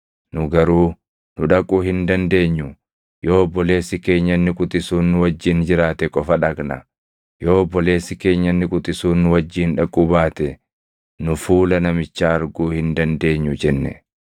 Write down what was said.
Nu garuu, ‘Nu dhaquu hin dandeenyu; yoo obboleessi keenya inni quxisuun nu wajjin jiraate qofa dhaqna. Yoo obboleessi keenya inni quxisuun nu wajjin dhaquu baate nu fuula namichaa arguu hin dandeenyu’ jenne.